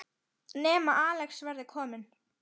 Nema Axel verði kominn.